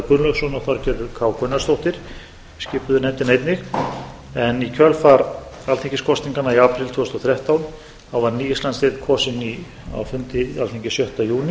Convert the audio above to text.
gunnlaugsson og þorgerður k gunnarsdóttir skipuðu nefndina einnig í kjölfar alþingiskosninganna í apríl tvö þúsund og þrettán var ný íslandsdeild kosin á fundi í alþingi sjötta júní